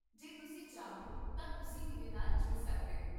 ਜੇ ਤੁਸੀਂ ਚਾਹੋ ਤਾਂ ਤੁਸੀਂ ਮੇਰੇ ਨਾਲ ਜੁੜ ਸਕਦੇ ਹੋ